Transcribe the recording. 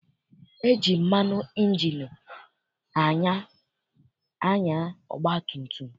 E ji mmanụ ịnjini anya ọgbatumtum.